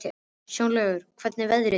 Snjólaugur, hvernig verður veðrið á morgun?